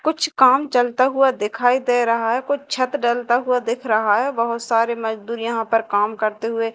कुछ काम चलता हुआ दिखाई दे रहा है कुछ छत ढलता हुआ दिख रहा है बहुत सारे मजदूर यहां पर काम करते हुए--